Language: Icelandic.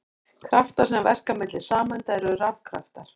Kraftar sem verka milli sameinda eru rafkraftar.